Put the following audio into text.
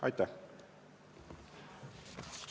Aitäh!